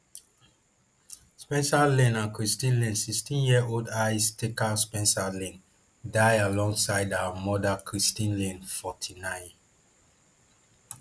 spencer lane and christine lane sixteenyearold ice skater spencer lane die alongside her mother christine lane forty-nine